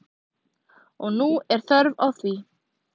Og nú er þörf á því.